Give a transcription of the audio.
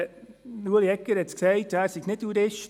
Ulrich Egger sagte, er sei kein Jurist.